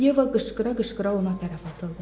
Yeva qışqıra-qışqıra ona tərəf atıldı.